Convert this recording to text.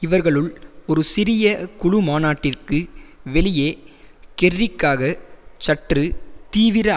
இவர்களுள் ஒரு சிறிய குழு மாநாட்டிற்கு வெளியே கெர்ரிக்காகச் சற்று தீவிர